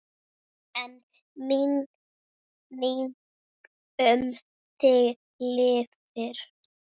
En minning um þig lifir.